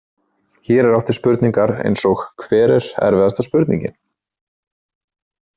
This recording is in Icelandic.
Hér er átt við spurningar eins og Hver er erfiðasta spurningin?.